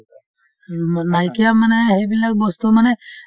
নাইকিয়া মানে সেইবিলাক বস্তুৰ মানে